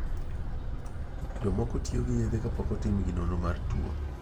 Jomoko tiyo gi yedhe kapokotimnigi nonro mar two.